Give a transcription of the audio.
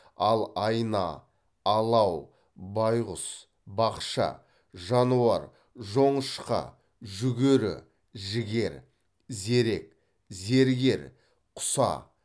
ал айна алау байғұс бақша жануар жоңышқа жүгері жігер зерек зергер құса